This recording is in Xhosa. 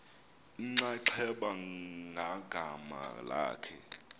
inxaxheba ngagama lakhe